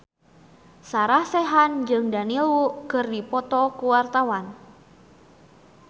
Sarah Sechan jeung Daniel Wu keur dipoto ku wartawan